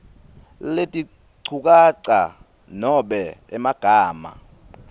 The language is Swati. letinchukaca nobe emagama